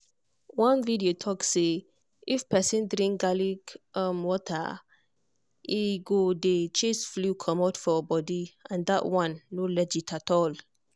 one video talk say if person drink garlic um water e um dey chase flu comot for body and that one no legit at all.